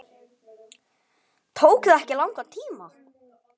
Tók það ekki langan tíma?